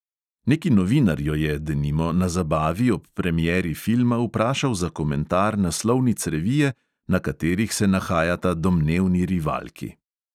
Neki novinar jo je, denimo, na zabavi ob premieri filma vprašal za komentar naslovnic revije, na katerih se nahajata domnevni rivalki.